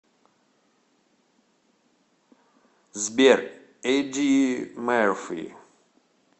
сбер эдди мэрфи